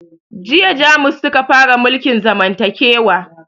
Jiya jamus suka fara mulkin zamantakewa